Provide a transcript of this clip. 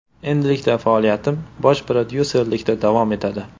Endilikda faoliyatim bosh prodyuserlikda davom etadi.